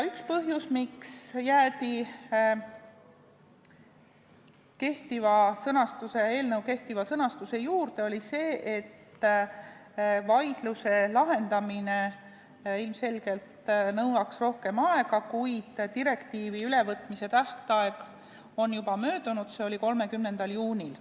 Üks põhjus, miks jäädi eelnõu kehtiva sõnastuse juurde, oli see, et vaidluse lahendamine nõuaks ilmselgelt rohkem aega, kuid direktiivi ülevõtmise tähtaeg on juba möödunud, see oli 30. juunil.